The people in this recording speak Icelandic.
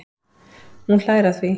Hún hlær að því.